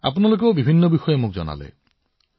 আপোনালোকে মোক বহুতো কথা শিকাইছে বহুতো ধাৰণা দিছে